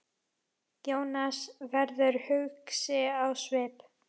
Jónas verður hugsi á svip.